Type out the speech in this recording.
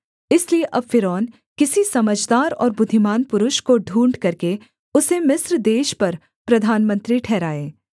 इसलिए अब फ़िरौन किसी समझदार और बुद्धिमान् पुरुष को ढूँढ़ करके उसे मिस्र देश पर प्रधानमंत्री ठहराए